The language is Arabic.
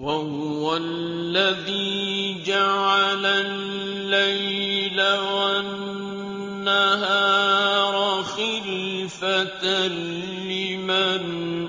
وَهُوَ الَّذِي جَعَلَ اللَّيْلَ وَالنَّهَارَ خِلْفَةً لِّمَنْ